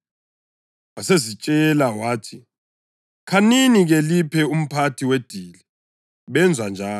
Wasezitshela wathi, “Khanini-ke liphe umphathi wedili.” Benza njalo,